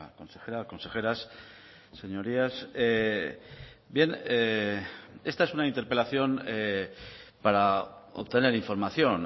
consejera consejeras señorías bien esta es una interpelación para obtener información